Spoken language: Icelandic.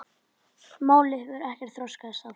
Málið hefur ekkert þokast áfram.